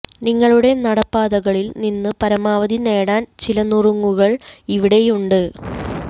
നിങ്ങളുടെ നടപ്പാതകളിൽ നിന്ന് പരമാവധി നേടാൻ ചില നുറുങ്ങുകൾ ഇവിടെയുണ്ട്